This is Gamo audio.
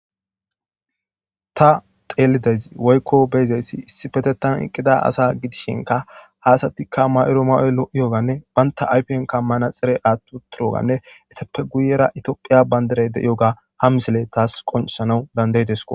Ta xeelidez woykko beyzeyssi issi petetan eqqida asa gidishinka haasatikka mayro mayoy lo'iyoganne baynta aypiyan kammana xire aattu turoganne etappe guyera itophiya bayndaray de'yoga ham misele taas qonsana dandaydesko.